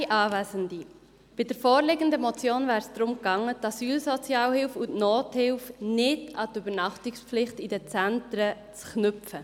Bei der vorliegenden Motion wäre es darum gegangen, die Asylsozialhilfe und die Nothilfe nicht an die Übernachtungspflicht in den Zentren zu knüpfen.